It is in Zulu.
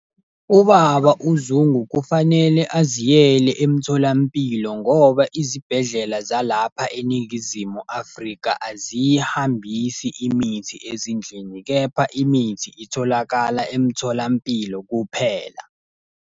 Ubaba uZungu kufanele aziyele emtholampilo ngoba izibhedlela zalapha eNingizimu Afrika aziyihambisi imithi ezindlini, kepha imithi itholakala emtholampilo kuphela.